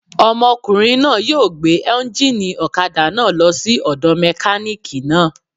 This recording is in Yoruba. Ọmọkùnrin náà yóò gbé éúnjínì ọ̀kadà náà lọ sí ọ̀dọ̀ mẹkánìkì náà